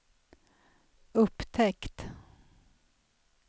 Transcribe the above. upptäckt